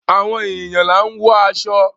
Àwọn èèyàn là ń wọ aṣọ.